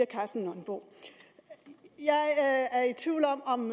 karsten nonbo jeg er i tvivl om om